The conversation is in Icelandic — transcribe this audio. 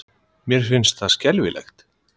Mér fannst það skelfilegt.